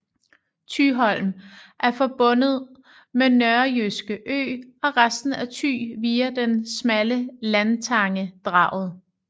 Thyholm er forbundet med Nørrejyske Ø og resten af Thy via den smalle landtange Draget